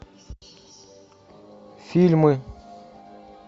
фильмы